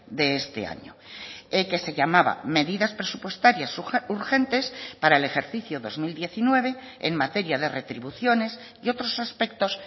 de este año que se llamaba medidas presupuestarias urgentes para el ejercicio dos mil diecinueve en materia de retribuciones y otros aspectos